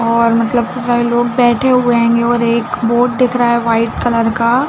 और मतलब इतने सारे लोग बैठे हुए हैं और एक बोर्ड दिख रहा है वाइट कलर का--